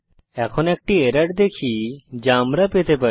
এখন একটি এরর দেখি যা আমরা পেতে পারি